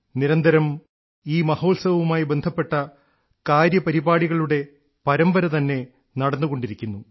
നിരന്തരം ഈ മഹോത്സവവുമായി ബന്ധപ്പെട്ട കാര്യപരിപാടികളുടെ പരമ്പര തന്നെ നടന്നുകൊണ്ടിരിക്കുന്നു